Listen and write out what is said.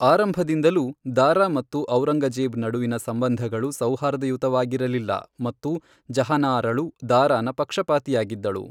ಆರಂಭದಿಂದಲೂ, ದಾರಾ ಮತ್ತು ಔರಂಗಜೇಬ್ ನಡುವಿನ ಸಂಬಂಧಗಳು ಸೌಹಾರ್ದಯುತವಾಗಿರಲಿಲ್ಲ ಮತ್ತು ಜಹಾನಾರಳು ದಾರಾನ ಪಕ್ಷಪಾತಿಯಾಗಿದ್ದಳು.